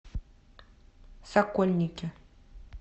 сокольники